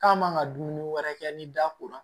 K'a man kan ka dumuni wɛrɛ kɛ ni da ko la